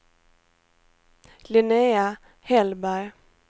Linnéa Hellberg